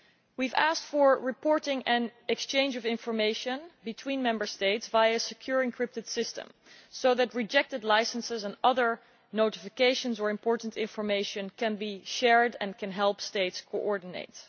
We have asked for reporting and exchange of information between Member States via a secure encrypted system, so that rejected licences and other notifications or important information can be shared and can help states coordinate.